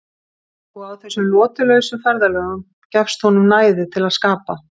Og á þessum lotulausu ferðalögum gefst honum næði til að skapa.